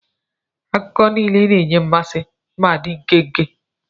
Akụkọ niile na-enye mmasị ma dị nkenke.